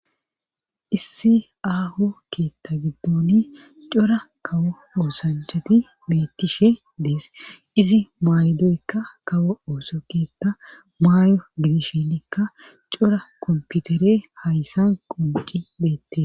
issi aaho keetta giddoni cora kawo oosanchati beettishe dees izi maaydoykka kawo ooso keetta maay7o dibishinikka cora komputere hayssan qonqi beette